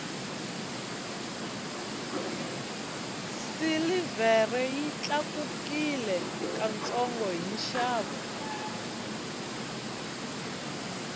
silivhere yi tlakukile ka ntsongo hi nxavo